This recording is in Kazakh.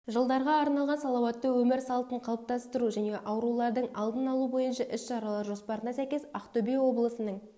жылдарға арналған салауатты өмір салтын қалыптастыру және аурулардың алдын алу бойынша іс-шаралар жоспарына сәйкес ақтөбе облысының